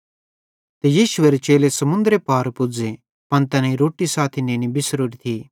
ते यीशुएरे चेले समुन्दरे पार पुज़ी जे पन तैनेईं रोट्टी साथी नेनी बिसरोरी थी